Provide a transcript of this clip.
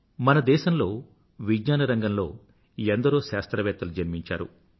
మన దేశంలో విజ్ఞాన రంగంలో ఎందరో శాస్త్రవేత్తలు జన్మించారు